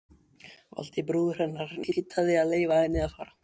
Valdi, bróðir hennar, neitaði að leyfa henni að fara.